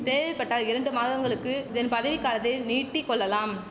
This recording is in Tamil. தேவைப்பட்டால் இரண்டு மாதங்களுக்கு இதன் பதவிக் காலத்தை நீட்டிக்கொள்ளலாம்